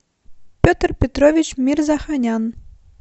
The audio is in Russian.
петр петрович мирзоханян